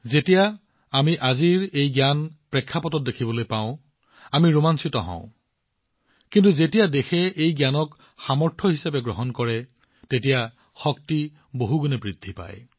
যেতিয়া আমি এই জ্ঞান দেখিবলৈ পাওঁ আজিৰ পৰিপ্ৰেক্ষিতত আমি ৰোমাঞ্চিত হওঁ কিন্তু যেতিয়া দেশখনে এই জ্ঞানক ইয়াৰ শক্তি হিচাপে গ্ৰহণ কৰে তেওঁলোকৰ শক্তি বহুগুণে বৃদ্ধি পায়